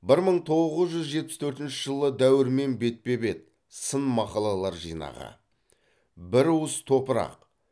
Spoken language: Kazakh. бір мың тоғыз жүз жетпіс төртінші жылы дәуірмен бетпе бет сын мақалалар жинағы бір уыс топырақ